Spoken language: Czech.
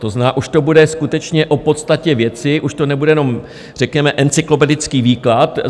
To znamená, už to bude skutečně o podstatě věci, už to nebude jenom řekněme encyklopedický výklad.